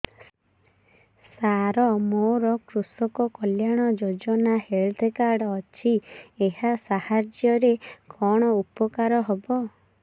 ସାର ମୋର କୃଷକ କଲ୍ୟାଣ ଯୋଜନା ହେଲ୍ଥ କାର୍ଡ ଅଛି ଏହା ସାହାଯ୍ୟ ରେ କଣ ଉପକାର ହବ